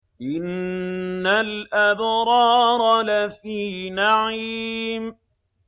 إِنَّ الْأَبْرَارَ لَفِي نَعِيمٍ